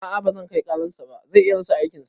A'a bazan kai karar sa ba, zai iya rasa aikin sa